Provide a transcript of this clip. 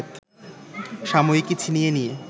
সাময়িকী ছিনিয়ে নিয়ে